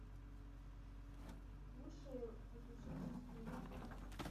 лучшие приключенческие фильмы